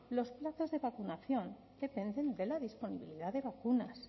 los plazos de vacunación dependen de la disponibilidad de vacunas